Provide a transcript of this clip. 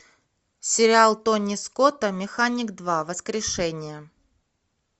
сериал тони скотта механик два воскрешение